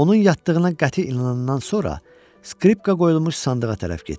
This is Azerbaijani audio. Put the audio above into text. Onun yatdığına qəti inandıqdan sonra skripka qoyulmuş sandığa tərəf getdi.